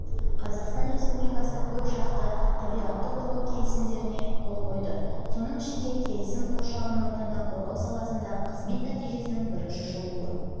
қазақстан республикасы көпжақты табиғатты қорғау келісімдеріне қол қойды соның ішінде келісім қоршаған ортаны қорғау саласындағы қызмет нәтижесінің бірінші шолуы